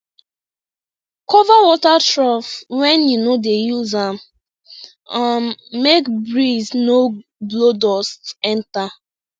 cover water trough when you no dey use am um make breeze no blow dust enter